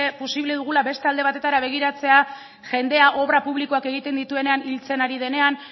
posible dugula beste alde batetara begiratzea jendea obra publikoak egiten dituenean hiltzen ari denean